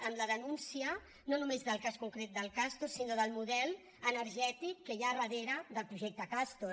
amb la denúncia no només del cas concret del castor sinó del model energètic que hi ha a darrere del projecte castor